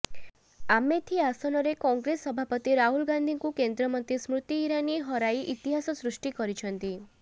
ଆମେଥି ଆସନରେ କଂଗ୍ରେସ ସଭାପତି ରାହୁଲ ଗାନ୍ଧୀଙ୍କୁ କେନ୍ଦ୍ରମନ୍ତ୍ରୀ ସ୍ମୃତି ଇରାନୀ ହରାଇ ଇତିହାସ ସୃଷ୍ଟି କରିଛନ୍ତି